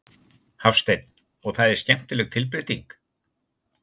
Hafsteinn: Og það er skemmtileg tilbreyting?